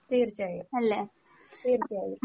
തീർച്ചയായും തീർച്ചയായും